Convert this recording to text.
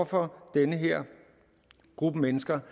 rammer den her gruppe mennesker